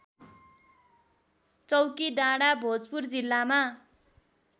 चौकीडाँडा भोजपुर जिल्लामा